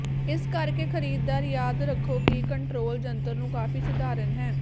ਇਸ ਕਰਕੇ ਖਰੀਦਦਾਰ ਯਾਦ ਰੱਖੋ ਕਿ ਕੰਟਰੋਲ ਜੰਤਰ ਨੂੰ ਕਾਫ਼ੀ ਸਧਾਰਨ ਹੈ